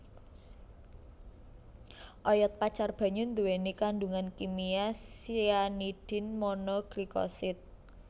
Oyod pacar banyu nduwèni kandhungan kimia cyanidin mono glycoside